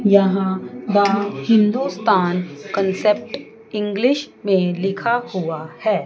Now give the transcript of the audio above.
यहां का Hindustan concept English में लिखा हुआ है।